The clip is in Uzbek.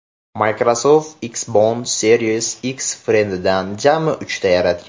Microsoft Xbox Series X Fridge’dan jami uchta yaratgan.